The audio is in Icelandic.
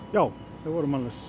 já þau voru mannlaus